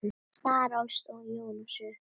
Þar ólst Jónas upp.